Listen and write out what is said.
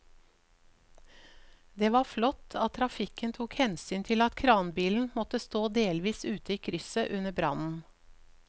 Det var flott at trafikken tok hensyn til at kranbilen måtte stå delvis ute i krysset under brannen.